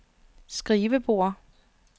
skrivebord